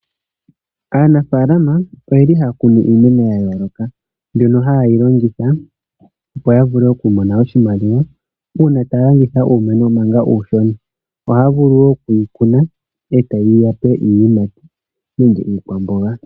Aanafaalama oye li haya kunu iimeno ya yooloka mbyono haye yi longitha opo ya vule oku mona oshimaliwa, uuna taya landitha uumeno manga uushona. Ohaya vulu wo oku yi kuna e ta yi ya pe iiyimati nenge iikwamboga.